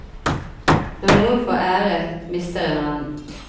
Når noen får ære, mister en annen.